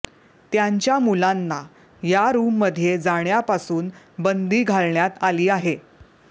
त्यांच्या मुलांना या रूममध्ये जाण्यापासून बंदी घालण्यात आली आहे